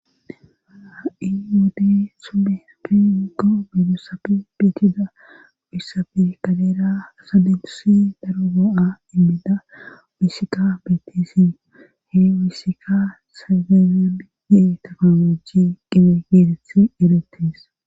Ha7i wode subeeri iggo midosafi bitida uyssafi kaleera asa dentusi daro go7a inbida wusika bettisi he wisika sazeen yee taknooji qibe geetethi erettes